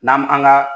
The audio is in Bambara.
N'an an ga